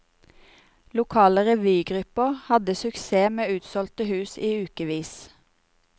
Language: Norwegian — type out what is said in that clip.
Lokale revygrupper hadde suksess med utsolgte hus i ukesvis.